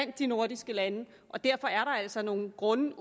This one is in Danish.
de nordiske lande derfor er der altså nogle grunde